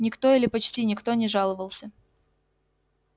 никто или почти никто не жаловался